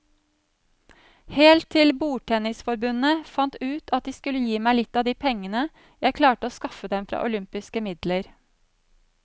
Helt til bordtennisforbundet fant ut at de skulle gi meg litt av de pengene jeg klarte å skaffe dem fra olympiske midler.